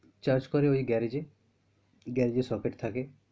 Charge করে ওই garage এ garage এ সকেট থাকে।